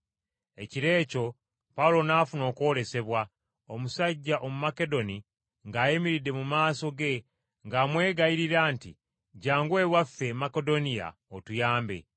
Ekiro ekyo Pawulo n’afuna okwolesebwa, omusajja Omumakedoni ng’ayimiridde mu maaso ge ng’amwegayirira nti, “Jjangu ewaffe e Makedoniya otuyambe.”